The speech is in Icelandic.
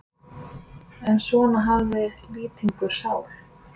En svona hafði Lýtingur sál.